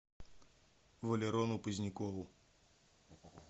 валерону позднякову